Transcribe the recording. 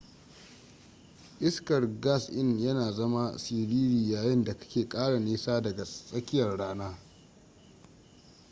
iskar gas in yana zama siriri yayin da kake kara nisa daga tsakiyar rana